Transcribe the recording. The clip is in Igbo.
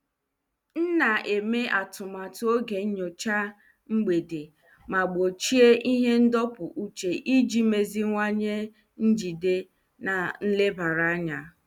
M na-eme atụmatụ oge nyocha mgbede ma gbochie ihe ndọpụ uche iji meziwanye njide na nlebara anya.